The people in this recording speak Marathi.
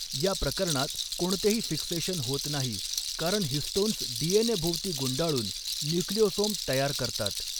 या प्रकरणात कोणतेही फिक्सेशन होत नाही कारण हिस्टोन्स डीएनएभोवती गुंडाळून न्यूक्लियोसोम तयार करतात.